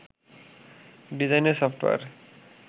ডিজাইনের সফটওয়্যার